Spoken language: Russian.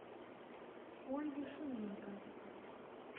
ольги шумейко